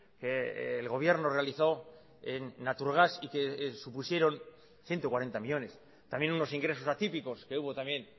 que el gobierno realizó en naturgas y que supusieron ciento cuarenta millónes también unos ingresos atípicos que hubo también